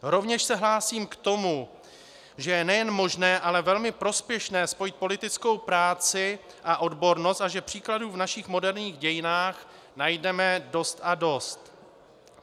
Rovněž se hlásím k tomu, že je nejen možné, ale velmi prospěšné spojit politickou práci a odbornost a že příkladů v našich moderních dějinách najdeme dost a dost.